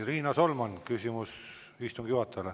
Riina Solman, küsimus istungi juhatajale.